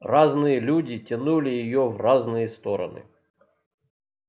разные люди тянули её в разные стороны